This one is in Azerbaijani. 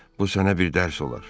Bu sənə bir dərs olar.